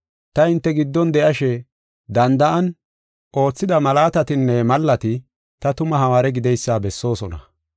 Ta hinte giddon de7ashe danda7an oothida malaatatinne mallati ta tuma hawaare gideysa bessoosona.